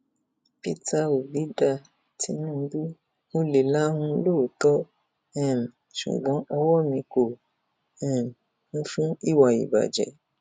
peter obi dá tinubu mo lè lahùn lóòótọ um ṣùgbọn ọwọ mi kò um kún fún ìwà ìbàjẹ